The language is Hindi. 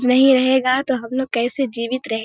नहीं रहेगा तो हम लोग कैसे जीवित रहें --